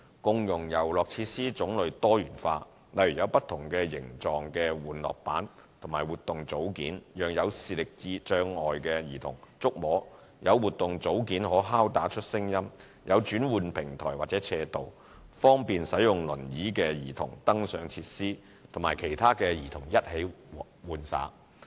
共融遊樂設施種類多元化，例如有不同形狀的玩樂板及活動組件，讓有視力障礙的兒童觸摸、有活動組件可敲打出聲音、有轉換平台或斜道，方便使用輪椅的兒童登上設施與其他兒童一起玩耍。